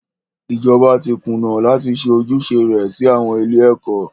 Ìjọba tí kùnà láti ṣe ojúṣe rẹ sí àwọn ilé ẹ̀kọ́.